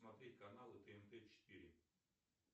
смотреть каналы тнт четыре